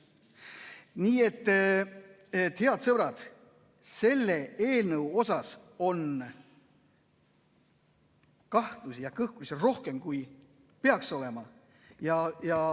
Nii et, head sõbrad, selle eelnõu kohta on kahtlusi ja kõhklusi rohkem, kui peaks olema.